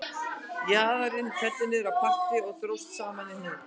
Jaðarinn féll niður á parti og dróst saman í hnút